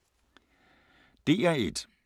DR1